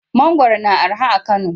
Mangwaro yana araha a Kano.